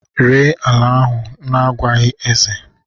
Ree ala ahu n'agwaghi eze